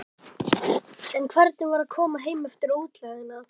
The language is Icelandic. En hvernig var að koma heim eftir útlegðina?